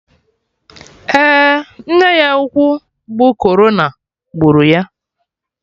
Eh, nne ya ukwu bụ corona gburu ya